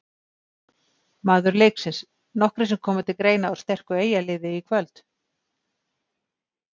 Maður leiksins: Nokkrir sem koma til greina úr sterku Eyjaliði í kvöld.